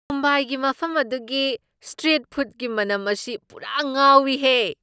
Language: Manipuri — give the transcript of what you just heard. ꯃꯨꯝꯕꯥꯏꯒꯤ ꯃꯐꯝ ꯑꯗꯨꯒꯤ ꯁ꯭ꯇ꯭ꯔꯤꯠ ꯐꯨꯗꯒꯤ ꯃꯅꯝ ꯑꯁꯤ ꯄꯨꯔꯥ ꯉꯥꯎꯏ ꯍꯦ!